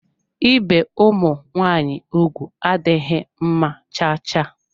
Ibe ụmụ nwaanyị ụgwụ adịghị mma cha cha.